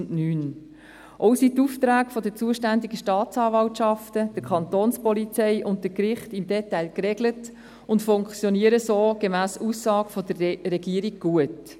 Auch sind die Aufträge der zuständigen Staatsanwaltschaften, der Kantonspolizei und der Gerichte im Detail geregelt und funktionieren so – gemäss Aussage der Regierung – gut.